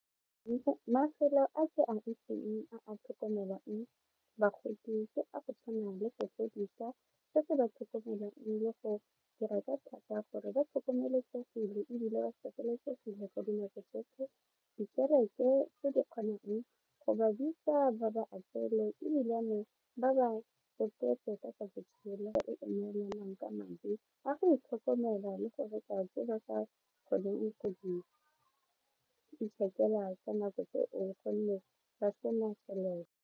Mafelo a ke a itseng a a tlhokomelang bagodi ke a go tshwana le se se ba tlhokomelang le go dira ka thata gore ba tlhokomelesegile ebile ba sireletsegile ka dinako tsotlhe dikerete tse di kgonang go ba bitsa ba ba apeele ebilane ba ba tsa botshelo ka madi a go itlhokomela le go reka tse ba sa kgoneng go di .